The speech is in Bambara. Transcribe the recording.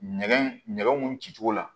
Nɛgɛ mun ci cogo la